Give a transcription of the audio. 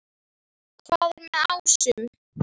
Hvað er með ásum?